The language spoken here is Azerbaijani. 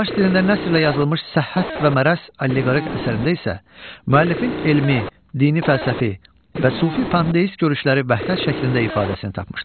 Fars dilində nəsrə yazılmış Səhhət və Mərəz alleqorik əsərində isə müəllifin elmi, dini fəlsəfi və sufi pandeist görüşləri vəhdət şəklində ifadəsini tapmışdır.